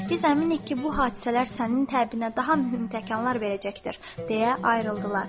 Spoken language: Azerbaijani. Biz əminik ki, bu hadisələr sənin təbinə daha mühüm təkanlar verəcəkdir, deyə ayrıldılar.